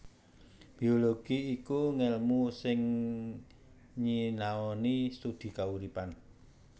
Biologi iku ngèlmu sing nyinaoni studi kauripan